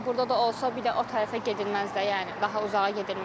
Məsələn, burda da olsa, bir də o tərəfə gedilməz də, yəni daha uzağa gedilməz.